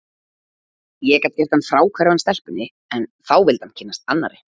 Ég gat gert hann fráhverfan stelpunni, en þá vildi hann kynnast annarri.